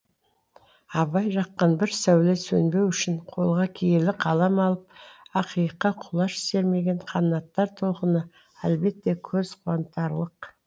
абай жаққан бір сәуле сөнбеу үшін қолға киелі қалам алып ақиыққа құлаш сермеген қанаттар толқыны әлбетте көз қуантарлық